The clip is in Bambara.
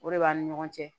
O de b'ani ɲɔgɔn cɛ